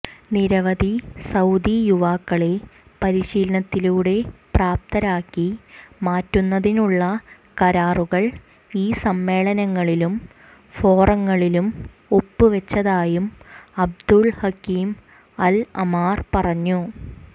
നിരവധി സൌദി യുവാക്കളെ പരിശീലനത്തിലൂടെ പ്രാപ്തരാക്കി മാറ്റുന്നതിനുള്ള കരാറുകൾ ഈ സമ്മേളനങ്ങളിലും ഫോറങ്ങളിലും ഒപ്പുവെച്ചതായും അബ്ദുൽഹകീം അൽഅമ്മാർ പറഞ്ഞു